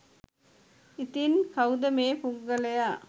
ඉතින් කවුද මේ පුද්ගලයා